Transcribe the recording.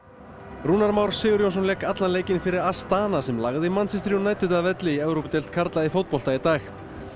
Rúnar Már Sigurjónsson lék allan leikinn fyrir Astana sem lagði Manchester United að velli í Evrópudeild karla í fótbolta í dag